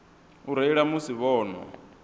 u reila musi vho nwa